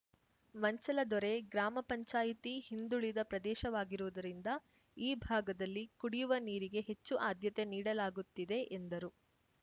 ಮಂಚಲದೊರೆ ಗ್ರಾಮ ಪಂಚಾಯಿತಿ ಹಿಂದುಳಿದ ಪ್ರದೇಶವಾಗಿರುವುದರಿಂದ ಈ ಭಾಗದಲ್ಲಿ ಕುಡಿಯವ ನೀರಿಗೆ ಹೆಚ್ಚು ಆದ್ಯತೆ ನೀಡಲಾಗುತ್ತಿದೆ ಎಂದರು